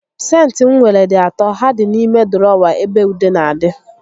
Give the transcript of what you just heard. Sentị m nwere dị atọ, ha dị n'ime dụrọwa ebe ude n'adị